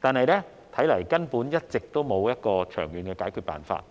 但一直沒有長遠的解決辦法。